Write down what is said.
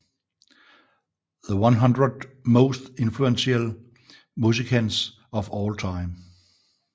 The 100 Most Influential Musicians of All Time